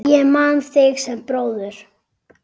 Ég man þig sem bróður.